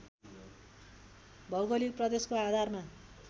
भौगोलिक प्रदेशको आधारमा